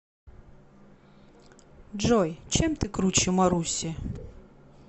джой чем ты круче маруси